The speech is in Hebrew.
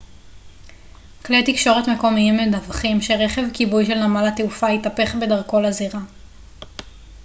כלי תקשורת מקומיים מדווחים שרכב כיבוי של נמל התעופה התהפך בדרכו לזירה